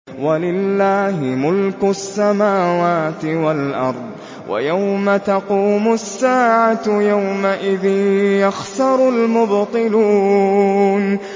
وَلِلَّهِ مُلْكُ السَّمَاوَاتِ وَالْأَرْضِ ۚ وَيَوْمَ تَقُومُ السَّاعَةُ يَوْمَئِذٍ يَخْسَرُ الْمُبْطِلُونَ